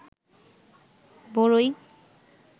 বরই